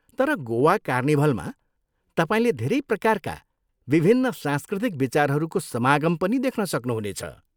तर गोवा कार्निभलमा, तपाईँले धेरै प्रकारका विभिन्न सांस्कृतिक विचारहरूको समागम पनि देख्न सक्नुहुनेछ।